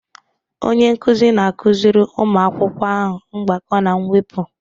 Onye nkuzi na-akụziri ụmụ akwụkwọ ahụ mgbakọ na mwepụ